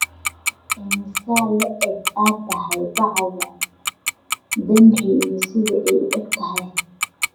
Intee le'eg tahay bacda denri iyo sida ay u egtahay